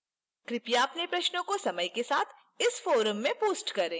कृपया अपने प्रश्नों को समय के साथ इस forum में post करें